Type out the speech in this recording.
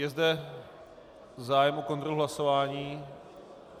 Je zde zájem o kontrolu hlasování?